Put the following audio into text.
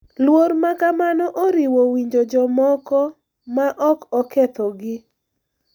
Luor ma kamano oriwo winjo jomoko ma ok okethogi, .